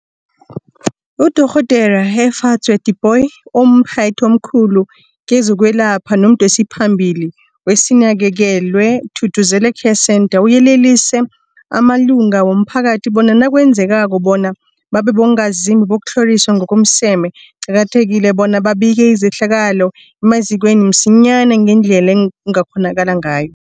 UDorh Efadzwa Tipoy, omphathi omkhulu kezokwelapha nomdosiphambili weSinakekelwe Thuthuzela Care Centre, uyelelise amalunga womphakathi bona nakwenzekako bona babe bongazimbi bokutlhoriswa ngokomseme, kuqakathekile bona babike izehlakalo emazikweni msinyana ngendlela ekungakghonakala ngayo.